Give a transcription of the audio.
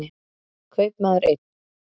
Kaupmaður einn.